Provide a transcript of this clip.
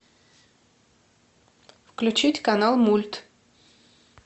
включить канал мульт